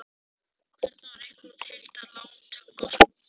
Hvernig á að reikna út heildar lántökukostnað?